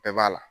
Bɛɛ b'a la